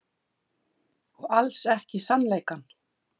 Og alls ekki sannleikann.